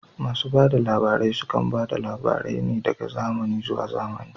Masu bada labarai sukan bada labarai ne daga zamani zuwa zamani